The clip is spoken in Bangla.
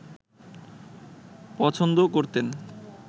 পছন্দ করতেন